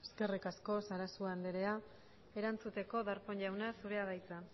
eskerrik asko sarasua andra erantzuteko darpón jauna zurea da hitza